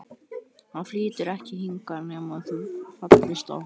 Hann flytur ekki hingað nema þú fallist á það.